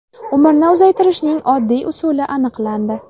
Umrni uzaytirishning oddiy usuli aniqlandi.